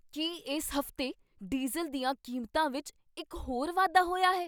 ਕੀ ਇਸ ਹਫ਼ਤੇ ਡੀਜ਼ਲ ਦੀਆਂ ਕੀਮਤਾਂ ਵਿੱਚ ਇੱਕ ਹੋਰ ਵਾਧਾ ਹੋਇਆ ਹੈ?